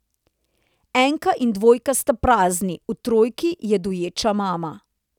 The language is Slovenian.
Enka in dvojka sta prazni, v trojki je doječa mama.